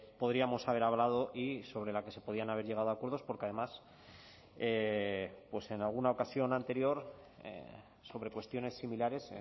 podríamos haber hablado y sobre la que se podían haber llegado a acuerdos porque además pues en alguna ocasión anterior sobre cuestiones similares